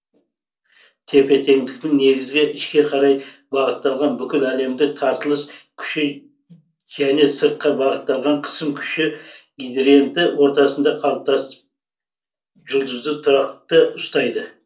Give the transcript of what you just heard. тепе теңдіктің негізгі ішке қарай бағытталған бүкіл әлемдік тартылыс күші және сыртқа бағытталған қысым күші гидриенті ортасында қалыптасып жұлдызды тұрақты ұстайды